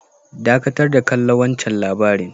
Dakatar da kalla wancan labari'n.